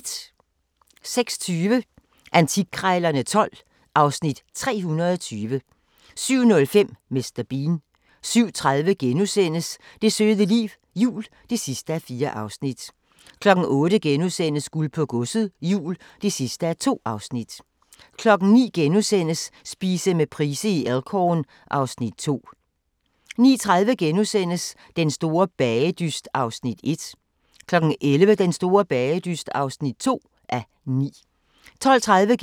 06:20: Antikkrejlerne XII (Afs. 320) 07:05: Mr. Bean 07:30: Det søde liv – jul (4:4)* 08:00: Guld på Godset, Jul (2:2)* 09:00: Spise med Price i Elk Horn (Afs. 2)* 09:30: Den store bagedyst (1:9)* 11:00: Den store bagedyst (2:9) 12:30: